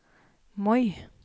Moi